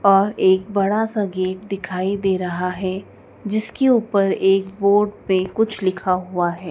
और एक बड़ासा गेट दिखाई दे रहा हैं जिसके ऊपर बोर्ड पे कुछ लिखा हुआ है।